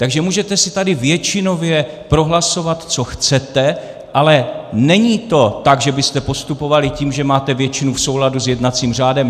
Takže můžete si tady většinově prohlasovat, co chcete, ale není to tak, že byste postupovali tím, že máte většinu, v souladu s jednacím řádem.